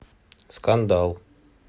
скандал